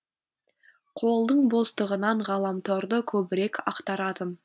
қолдың бостығынан ғаламторды көбірек ақтаратын